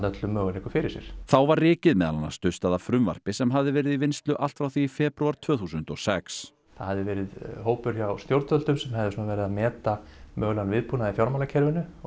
öllum möguleikum fyrir sér þá var rykið meðal annars dustað af frumvarpi sem hafði verið í vinnslu allt frá því í febrúar tvö þúsund og sex það hafði verið hópur hjá stjórnvöldum sem hafði verið að meta mögulegan viðbúnað í fjármálakerfinu og